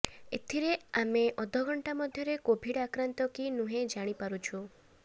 ଏଥିରେ ଆମେ ଅଧଘଣ୍ଟା ମଧ୍ୟରେ କୋଭିଡ୍ ଆକ୍ରାନ୍ତ କି ନୁହେଁ ଜାଣିପାରୁଛୁ